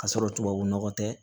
Ka sɔrɔ tubabu nɔgɔ tɛ